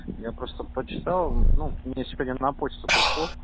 я просто почитал мне теперь на почту пришло